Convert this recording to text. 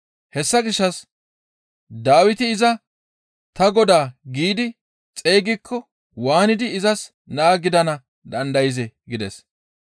Hessa gishshas Dawiti iza, ‹Ta Godaa› giidi xeygikko waanidi izas naa gidana dandayzee?» gides.